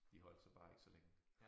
De holdt så bare ikke så længe